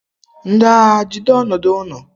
Ndị agha, jide ọnọdụ ụnụ!